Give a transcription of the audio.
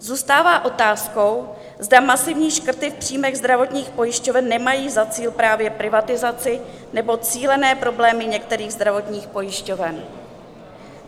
Zůstává otázkou, zda masivní škrty v příjmech zdravotních pojišťoven nemají za cíl právě privatizaci nebo cílené problémy některých zdravotních pojišťoven.